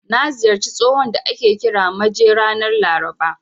Na ziyarci tsohon da ake kira Maje ranar Laraba.